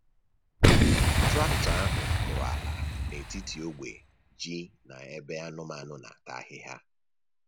Traktọ ahụ kụrụ ala n’etiti ogbe ji na ebe anụmanụ na-ata ahịhịa.